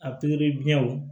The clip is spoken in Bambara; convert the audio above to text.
A pikiri biɲɛw